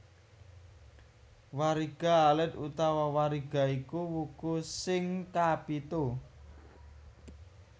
Wariga alit utawa Wariga iku wuku sing kapitu